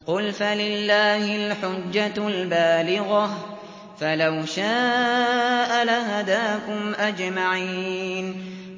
قُلْ فَلِلَّهِ الْحُجَّةُ الْبَالِغَةُ ۖ فَلَوْ شَاءَ لَهَدَاكُمْ أَجْمَعِينَ